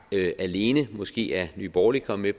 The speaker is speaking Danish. alene måske er nye borgerlige kommet